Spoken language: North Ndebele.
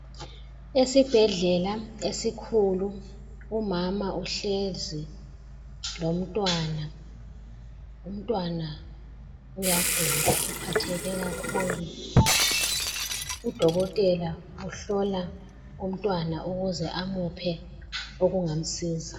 Esibhedlela esikhulu umama uhlezi lomntwana, umntwana uyagula uphatheke kakhulu, udokotela uhlola umntwana ukuze amuphe okungamsiza.